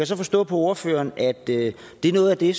så forstå på ordføreren at det er noget af det